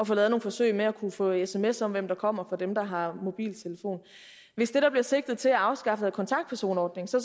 få lavet nogle forsøg med at kunne få sms om hvem der kommer for dem der har mobiltelefon hvis det der bliver sigtet til er at afskaffe kontaktpersonordningen så